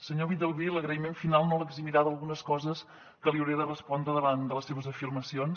senyor villalbí l’agraïment final no l’eximirà d’algunes coses que li hauré de respondre davant de les seves afirmacions